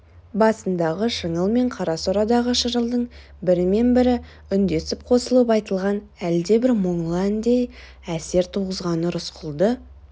басындағы шыңыл мен қара сорадағы шырылдың бірі мен бірі үндесіп қосылып айтылған әлдебір мұңлы әндей әсер туғызғаны рысқұлды